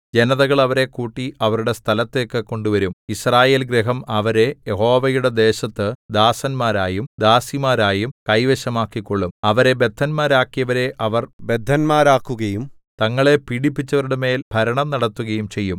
ജനതകൾ അവരെ കൂട്ടി അവരുടെ സ്ഥലത്തേക്ക് കൊണ്ടുവരും യിസ്രായേൽഗൃഹം അവരെ യഹോവയുടെ ദേശത്തു ദാസന്മാരായും ദാസിമാരായും കൈവശമാക്കിക്കൊള്ളും അവരെ ബദ്ധന്മാരാക്കിയവരെ അവർ ബദ്ധന്മാരാക്കുകയും തങ്ങളെ പീഡിപ്പിച്ചവരുടെമേൽ ഭരണം നടത്തുകയും ചെയ്യും